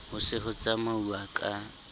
ho se ho tsamauwa ka